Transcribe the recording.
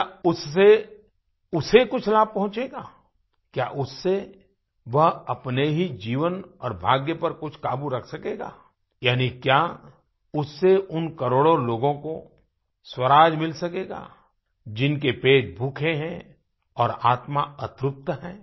क्या उससे उसे कुछ लाभ पहुंचेगा क्या उससे वह अपने ही जीवन और भाग्य पर कुछ काबू रख सकेगा यानी क्या उससे उन करोड़ों लोगों को स्वराज मिल सकेगा जिनके पेट भूखे हैं और आत्मा अतृप्त है